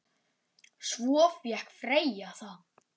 Svo fékk Freyja það.